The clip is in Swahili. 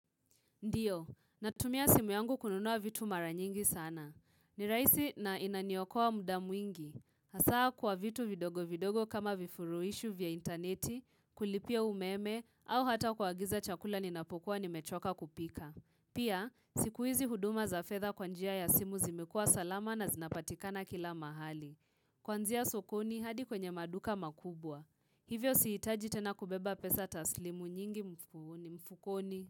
Ndiyo, natumia simu yangu kununua vitu mara nyingi sana. Ni rahisi na inaniokoa muda mwingi. Hasa kwa vitu vidogo vidogo kama vifurushi vya interneti, kulipia umeme, au hata kuagiza chakula ninapokuwa nimechoka kupika. Pia, sikuhizi huduma za fedha kwa njia ya simu zimekua salama na zinapatikana kila mahali. Kuanzia sokoni hadi kwenye maduka makubwa. Hivyo sihitaji tena kubeba pesa taslimu nyingi mfukoni.